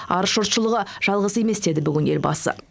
арыс жұртшылығы жалғыз емес деді бүгін елбасы